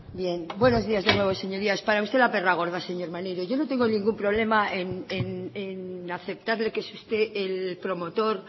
bien buenos días de nuevo señorías para usted la perra gorda señor maneiro yo no tengo ningún problema en aceptarle que es usted el promotor